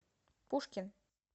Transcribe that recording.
пушкин